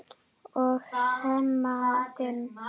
og Hemma Gunn.